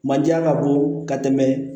Manje ka bon ka tɛmɛ